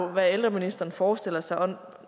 hvad ældreministeren forestiller sig